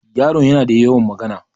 Yaron yana da yawan magana.